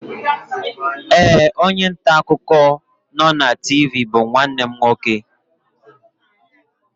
Ee, onye nta akụkọ nọ na TV bụ nwanne m nwoke